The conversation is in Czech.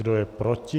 Kdo je proti?